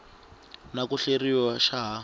na ku hleriwa xa ha